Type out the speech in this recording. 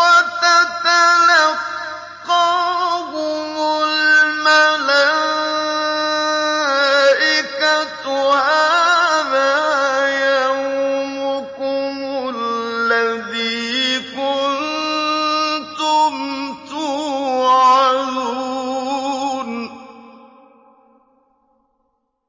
وَتَتَلَقَّاهُمُ الْمَلَائِكَةُ هَٰذَا يَوْمُكُمُ الَّذِي كُنتُمْ تُوعَدُونَ